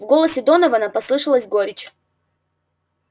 в голосе донована послышалась горечь